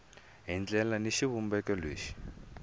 hi ndlela ni xivumbeko lexi